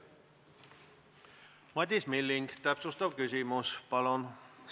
Madis Milling, täpsustav küsimus palun!